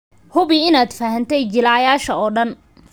Hubi inaad fahantay jilayaasha oo dhan.